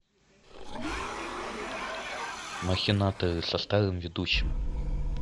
махинаторы со старым ведущим